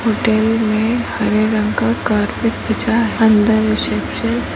hotel मे हरे रंग का कार्पट बिछा है अंदर रिसेप्शन --